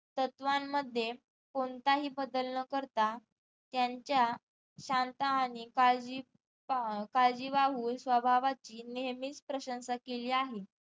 तत्वांमध्ये कोणताही बदल न करता त्यांच्या शांत आणि काळजी काळजी स्वभावाची नेहमीच प्रशंसा केली आहे